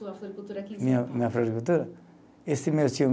Floricultura aqui. Minha, minha floricultura, esse meu tio